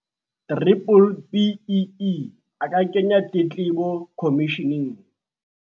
B-BBEE, a ka kenya tletlebo khomisheneng.